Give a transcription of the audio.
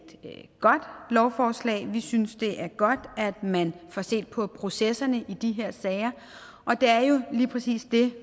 godt lovforslag vi synes det er godt at man får set på processerne i de her sager og det er jo lige præcis det